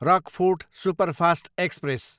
Rockfort superfast express